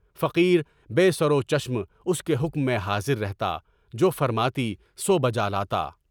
فقیر بے سر و چشم اس کے حکم میں حاضر رہتا، جو فرماتی سو بجا لاتا۔